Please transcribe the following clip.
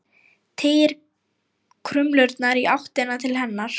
Teygir krumlurnar í áttina til hennar.